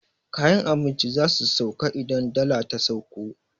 Kayan abinci zasu sauko idan dala ta sauko